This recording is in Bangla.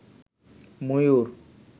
ময়ুর